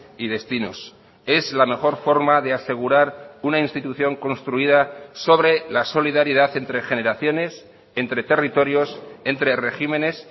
y destinos es la mejor forma de asegurar una institución construida sobre la solidaridad entre generaciones entre territorios entre regímenes